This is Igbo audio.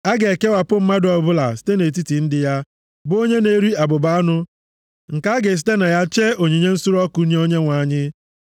A ga-ekewapụ mmadụ ọbụla site nʼetiti ndị ya, bụ onye na-eri abụba anụmanụ nke a ga-esite na ya chee onyinye nsure ọkụ nye Onyenwe anyị.